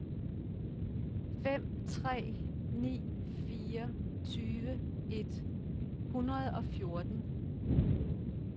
fem tre ni fire tyve et hundrede og fjorten